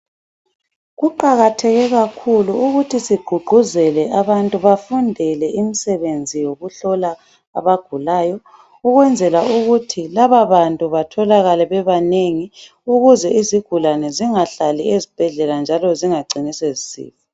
Kuqakatheke kakhulu ukuthi siqhuqhuzele abantu bafundele imisebenzi yokuhlola abagulayo ,ukwenzela ukuthi laba bantu batholakale bebanengi ukuze izigulane zingahlali ezibhedlela njalo zingacini sezisifa.